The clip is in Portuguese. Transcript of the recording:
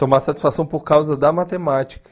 Tomar satisfação por causa da matemática.